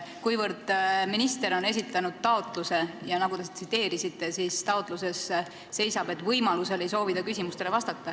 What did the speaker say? Minister on esitanud taotluse ja nagu te tsiteerisite, siis taotluses seisab, et võimaluse korral ei soovi ta küsimustele vastata.